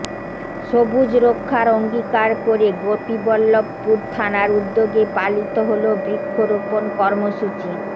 সবুজ রক্ষার অঙ্গীকার করে গোপীবল্লভপুর থানার উদ্যোগে পালিত হল বৃক্ষরোপণ কর্মসূচি